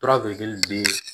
Toraji bɛ